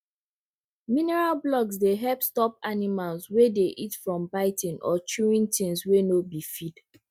mineral blocks dey help stop animals wey dey eat from biting or chewing things wey no be feed